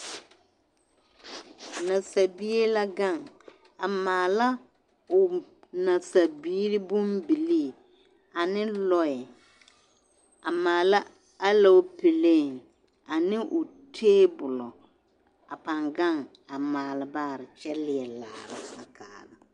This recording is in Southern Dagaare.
Nasabie la ɡaŋ a maala o nasabiiri bombilii ane lɔɛ a maala aloopelee ane o teebulɔ a pãã ɡaŋ a maale baare kyɛ leɛ laara a kaara.